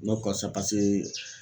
N bɛ kɔsa pase